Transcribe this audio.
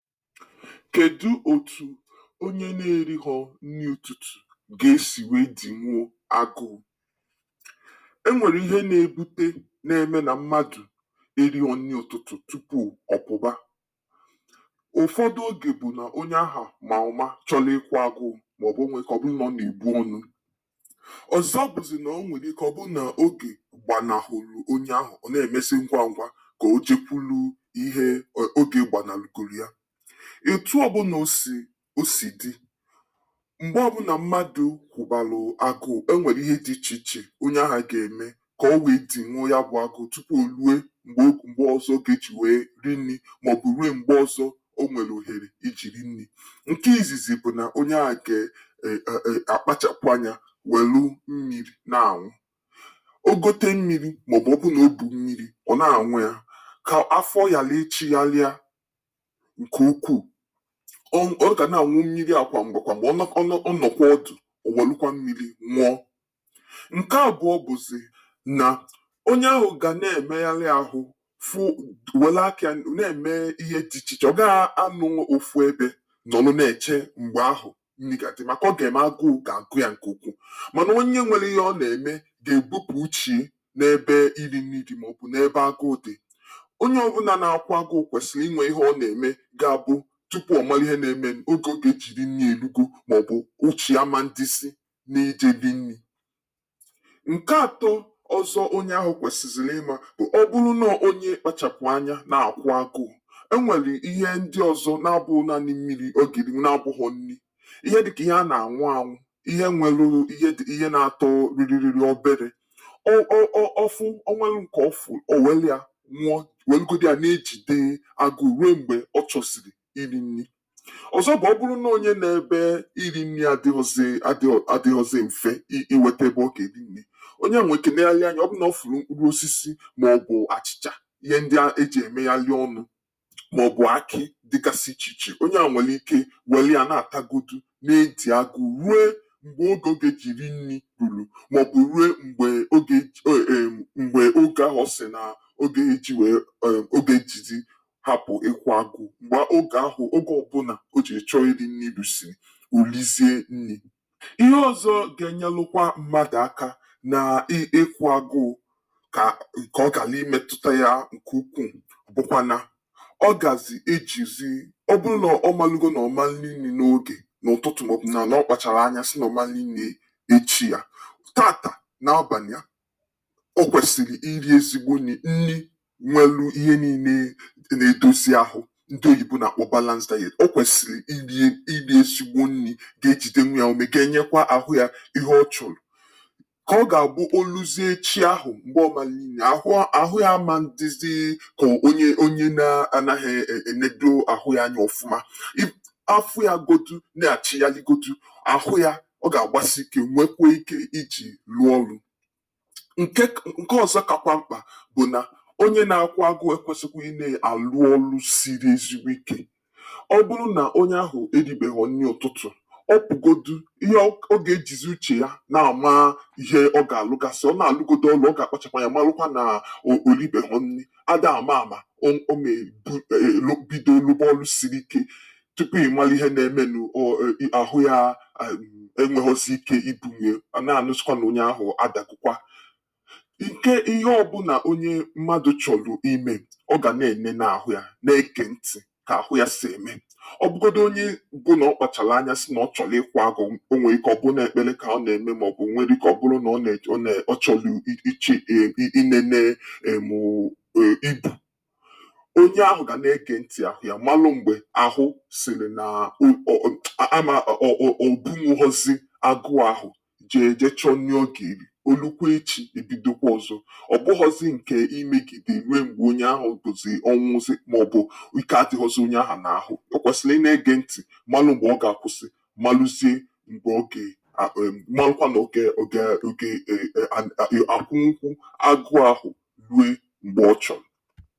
Kedu etu onye na-erighọ́ nni ụtụtụ ga-esi wee dinwuo agụụ? E nwere ihe na-ebuté na-eme na mmadụ erighọ nni ụtụtụ tupu ọ pụba. Ụfọdụ oge bụ na onye ahụ ma ụma chọlị ị́kwụ agụụ ma ọ bụ o nwee ike ọ bụrụ na ọ na-ebú ọ́nụ. Ọzọ bụzị na o nweli ike ọ bụrụ na oge gbanahụlụ onye ahụ ọ na-emezị ngwá ngwa koo jekwulu ihe o oge gbanahugolu ya. Etu ọ bụna o si o si dị mgbe ọbụna mmadụ kwụbalụ agụụ, o nweli ihe dị iche iche onye ahụ ga-emekoo o wee dinwuo ya bụ agụụ tupu o lue mgbe mgbe ọzọ ọ ga-eji wee rie nni maọbụ rue mgbe ọzọ o nwelụ ohere iji li nni. Nke izizi bụ na onye a ge e e e akpachapụ anya welụ mmiri na-anwụ. O gote mmiri maọbụ ọ bụ na o bù mmiri ọ na-anwụ e ka afọ yalịị chịhalịa nke ukwuu. Ọ ọ ọ ga na-anwụ mmili a kwa mgbe kwa mgbe ọ nọ ọ nọ ọ nọkwaa otù o welụkwa mmili nwụọ. Nke abụọ bụzị na onye ahụ ga na-emeyalị ahụ fụ welụ akịa na-eme ihe dị iche iche. Ọ gaa anọnwu ofu ebe nọlụ na-eche mgbe ahụ nni ga-adị maka ọ ga-eme agụụ ga-agụ ya nke ukwuu mana onye nwelụ ihe ọ na-eme ga-ebupu uchie n'ebe ili nni dị maọbụ n'ebe agụụ dị. Onye ọbụla na-ákwụ́ agụụ kwesịlị inwe ihe ọ na-eme ga-abụ tupu ọ malụ ihe na-emenụ oge ọ ga-eji li nni erugo maọbụ uchie aman dịzị n'ije li nni. Nke atọ onye ahụ kwesịzịlị ịma bụ ọ bụlụ nọọ onye kpachapụ ányá na-àkwụ́ agụụ, e nwelụ ihe ndị ọzọ na-abụghị naanị mmili ọ ga-erinwu na-abụghọ nni. Ihe dị ka ihe a na-anwụ anwụ, ihe nwelụ ihe dị ihe na-atọ rịrịrịrị obere. O o o o ọ fụ o nwelụ nke ọ fụụ̀, o welia nwụọ welụgodi ya na-ejide agụụ rue mgbe ọ chọziri iri nni. Ọzọ bụ ọ bụrụ nọọ onye nọ ebe ili nni adịghọzị adịghọ adịghọzị mfé i iwete ebe ọ ga-eri nni, onye ahụ nwii ike negharịa anya ọ bụrụ na ọ fụrụ mkpụrụ osisi maọbụ àchị̀chà ihe ndị e ji emeyalị ọnụ maọbụ ákị́ dịgasị iche iche, onye a nwelị ike welịa na-atagodu na-edi agụụ rue mgbe o oge e ji ri nni ruru maọbụ rue mgbe ogé o erm mgbe oge ahụ ọ sị na oge ọ ya eji wee hapụ ị́kwụ agụụ. Mgbe oge ahụ oge ọbụla o ji wee chọọ ili nni ruzii, o lizie nni. Ihe ọzọ ga-enyelụkwa mmadụ aka na ị ị ị́kwụ agụụ ka kọọ kalii metụta ya nke ukwuu bụkwa na ọ gazi ejizi ọ bụrụ na ọ malụgo nọ ọ manli nni n'oge n'ụtụtụ maọbụ na nọ ọ kpachala anya sị na ọ man li nni echi ya, taata n'abanị a o kwesịrị iri ezigbo nni, nni nwelụ ihe niile e na-edozi ahụ ndị oyibo na-akpọ balanced diet. O kwesịlị iri e iri ezigbo nni ga-ejidenwu ya úmé ga-enyekwa arụ ya ihe ọ chọrọ ka ọ ga-abụ o luzie echi ahụ mgbe ọ man li nni ahụ ọ ahụ ya a man dịzị ka onye onye na-anaghị e enedo ahụ ya anya ọfụma. I afọ ya godu na-achịghalịgodu, ahụ ya ọ ga-agbasii ike nwekwue ike i ji arụ ọrụ. Nke k nke ọzọ kakwa mkpà bụ na onye na-akwụ́ agụụ ekwesịkwị ị na-alụ ọ́lụ́ siri ezigbo ike. Ọ bụrụ na onye ahụ eribeghọ nni ụtụtụ, ọ pụgodu ihe ọ ọ ga-ejizi, uche ya na-ama ihe ọ ga-alụgasị. Ọ na-alụgodu ọlụ, ọ ga-akpachapụ anya malụkwa naa o olibeghọ nni a daa ama ama o o mee o mee bido lụba ọ́lụ́ sii ike. Tupu ị malụ ihe na-emenụ o i i ahụ ya enweghọzi ike ibunwie a na-anụzịkwa na onye ahụ adagokwa. Nke ihe ọbụla onye mmadụ chọlụ ime, ọ ga na-enene ahụ ya na-ege ntị ka ahụ ya si eme. Ọ bụgodi onye bụ na ọ kpachalụ anya sị na ọ chọlụ ị́kwụ agụụ o nwee ike ọ bụrụ na ọ ekpele ka ọ na-eme maọbụ o nwelụike ọ bụlụ na ọ ne ọ ne ọ chọlụ i i ichi i i inene erm o. Onye ahụ ga na-ege ntị ahụ ya malụ mgbe ahụ sịrị naa u o o ama o o o obunwughọzị agụụ ahụ jee je chọọ nni ọ ga-eri. Olukwee echi e bidokwa ọzọ. Ọ bụghọzị nke imegide rue mgbe onye ahụ bụzị ọnwụzị maọbụ ike adịghọzị onye ahụ n'ahụ. O kwesịlị ị na-ege ntị malụ mgbe ọ ga-akwụsị malụzie mgbe ọ ga e o erm malụkwa na ọ ga e ọ ga e ọ ga e en ọ e an ọ ga-akwụnwukwu agụụ ahụ rue mgbe ọ chọrọ.